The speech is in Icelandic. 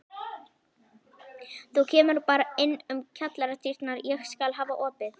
Þú kemur bara inn um kjallaradyrnar, ég skal hafa opið.